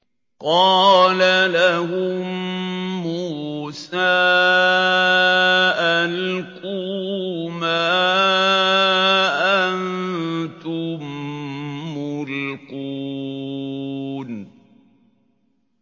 قَالَ لَهُم مُّوسَىٰ أَلْقُوا مَا أَنتُم مُّلْقُونَ